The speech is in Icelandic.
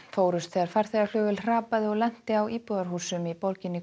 fórust þegar farþegaflugvél hrapaði og lenti á íbúarhúsum í borginni